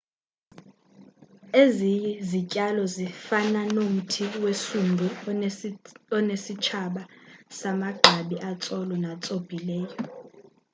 ezi zityalo zifana nomthi wesundu onesitshaba samagqabi atsolo natsobhileyo